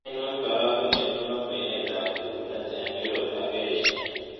Ainon karagunet ne po kwenetap kelunet eng' europe ak asia